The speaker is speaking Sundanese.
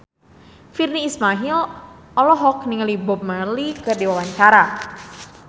Virnie Ismail olohok ningali Bob Marley keur diwawancara